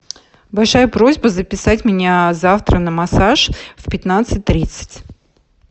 большая просьба записать меня завтра на массаж в пятнадцать тридцать